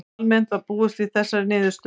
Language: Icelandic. Almennt var búist við þessari niðurstöðu